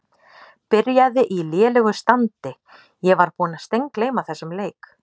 Byrjaði í lélegu standi Ég var búinn að steingleyma þessum leik.